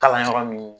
Kalan yɔrɔ min